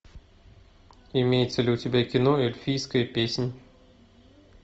имеется ли у тебя кино эльфийская песнь